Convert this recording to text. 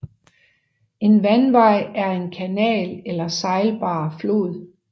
En vandvej er en kanal eller sejlbar flod